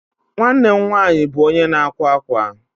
Nwanne m nwaanyị bụ onye na-akwa akwa.